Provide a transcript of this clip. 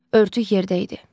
Örtük yerdə idi.